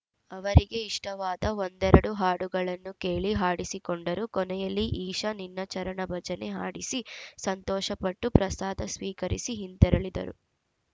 ಅವರಿಗೆ ಇಷ್ಟವಾದ ಒಂದೆರಡು ಹಾಡುಗಳನ್ನು ಕೇಳಿ ಹಾಡಿಸಿಕೊಂಡರು ಕೊನೆಯಲ್ಲಿ ಈಶ ನಿನ್ನ ಚರಣ ಭಜನೆ ಹಾಡಿಸಿ ಸಂತೋಷಪಟ್ಟು ಪ್ರಸಾದ ಸ್ವೀಕರಿಸಿ ಹಿಂತೆರಳಿದರು